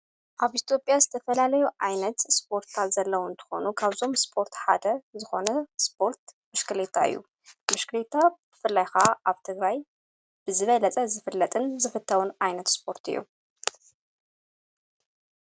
ኣብ ኢትዮጵያ ዝተፈላለዩ ዓይነት ስፖርት ዘለዉ እንትኾኑ ካብዞም ስፖርት ሓደ ዝኾነ ስፖርት ብሽክልታ እዩ ብሽክልታ ብፍላይኻ ኣብ ትግራይ ብዝበለፀ ዝፍለጥን ዝፍተውን ኣይነት ስፖርት እዩ።